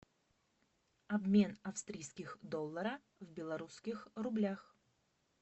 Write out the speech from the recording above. обмен австрийских долларов в белорусских рублях